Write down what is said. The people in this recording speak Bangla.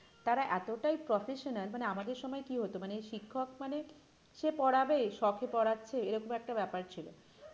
তারা এতটাই professional মানে আমাদের সময় কি হতো? মানে শিক্ষিক মানে সে পড়াবে শখে পড়াচ্ছে এরকম একটা ব্যাপার ছিল কিন্তু